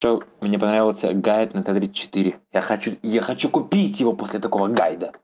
то мне понравился гайд на т тридцать четыре я хочу я хочу купить его после такого гайда